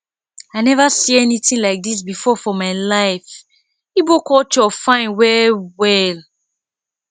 i never see anything like dis before for my life igbo culture fine well well